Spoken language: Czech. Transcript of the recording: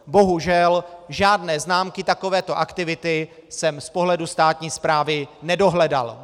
Bohužel žádné známky takovéto aktivity jsem z pohledu státní správy nedohledal.